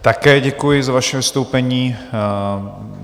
Také děkuji za vaše vystoupení.